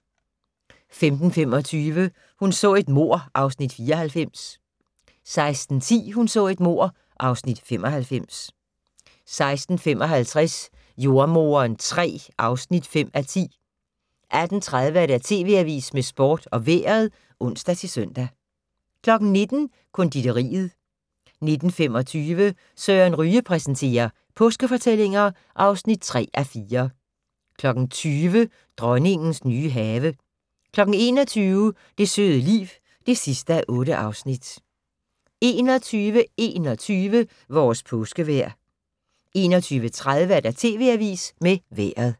15:25: Hun så et mord (Afs. 94) 16:10: Hun så et mord (Afs. 95) 16:55: Jordemoderen III (5:10) 18:30: TV Avisen med Sporten og Vejret (ons-søn) 19:00: Konditoriet 19:25: Søren Ryge præsenterer: Påskefortællinger (3:4) 20:00: Dronningens nye have 21:00: Det søde liv (8:8) 21:21: Vores påskevejr 21:30: TV Avisen med Vejret